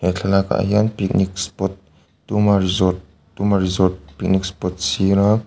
he thlalak ah hian picnic spot tuma resort tuma resort picnic spot sira--